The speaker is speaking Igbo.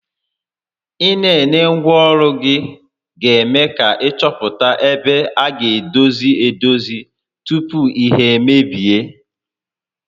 Ị nenengwa ọrụ ga eme ka ị chọpụta ebe a gá edozi edozi tupu ihe emebie